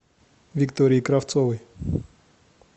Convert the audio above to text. виктории кравцовой